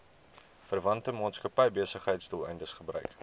verwante maatskappybesigheidsdoeleindes gebruik